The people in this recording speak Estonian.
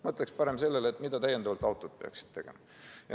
Mina ütleksin parem, mida täiendavat autod peaksid tegema.